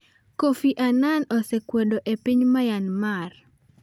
Kofi Annan osekwado e piny Myanmar